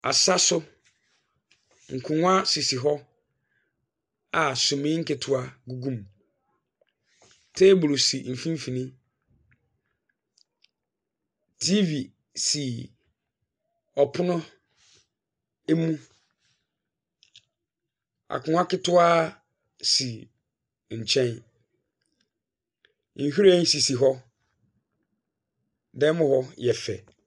Asa so, nkonnwa sisi hɔ, a sumii nketewa gugu mu. Teeburu si mfimfini. TV si ɔpono mu, akonnwa ketewa si nkyɛn, nhwiren sisi hɔ. Dan mu hɔ yɛ fɛ.